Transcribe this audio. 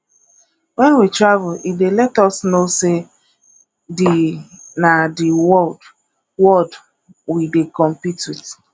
when we travel e dey let us know sey di na di world world we dey compete with